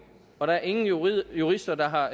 og der er ingen jurister jurister der har